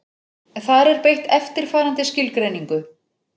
Þar er beitt eftirfarandi skilgreiningu: